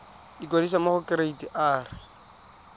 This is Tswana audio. ikwadisa mo go kereite r